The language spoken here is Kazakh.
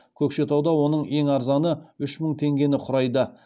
көкшетауда оның ең арзаны үш мың теңгені құрайды